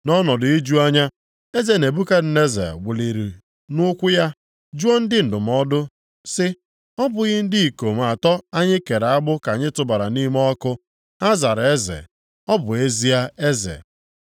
Nʼọnọdụ iju anya, Eze Nebukadneza wuliri nʼụkwụ ya, jụọ ndị ndụmọdụ sị, “Ọ bụghị ndị ikom atọ anyị kere agbụ ka anyị tụbara nʼime ọkụ?” Ha zara eze, “Ọ bụ ezie, eze.”